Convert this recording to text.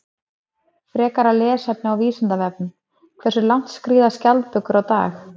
Frekara lesefni á Vísindavefnum: Hversu langt skríða skjaldbökur á dag?